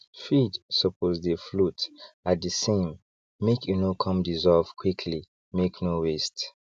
feed suppose dey float at the samemake e no come dissolve quickly make no waste